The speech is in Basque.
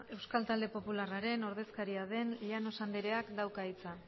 euskal talde popularraren ordezkaria den llanos andereak dauka hitza